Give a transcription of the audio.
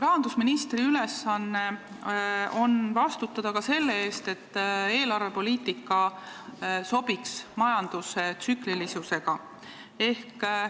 Rahandusministri ülesanne on vastutada ka selle eest, et eelarvepoliitika sobiks majanduse tsüklilisusega.